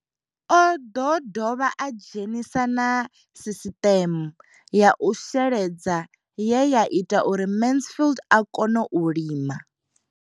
Oḓo dovha a dzhenisa na sisiṱeme ya u sheledza ye ya ita uri Mansfied a kone u lima.